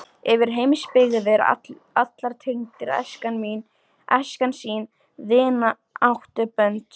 Yfir heimsbyggðir allar tengir æskan sín vináttubönd.